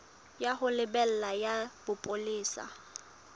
ya ho lebela ya bopolesa